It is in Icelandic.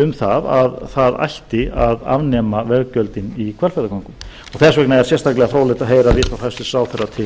um að það ætti að afnema veggjöldin í hvalfjarðargöngum þess vegna er sérstaklega fróðlegt að heyra viðhorf hæstvirtur ráðherra til